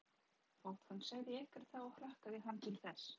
Þótt hann segði ekkert þá hlakkaði hann til þess.